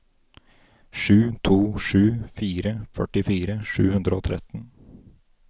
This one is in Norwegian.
sju to sju fire førtifire sju hundre og tretten